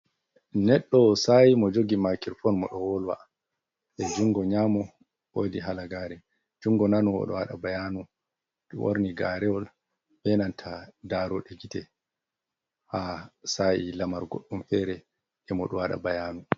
Neɗɗo sayi mo jogi makirfon mo ɗo wolwa; e jungo nyamo wodi halagare, jungo nano odo wada bayanu. Ɓorni garewol ɓe nanta daroɗe gite. Ha sa’i lamar goɗɗum fere de mo do wada bayanu.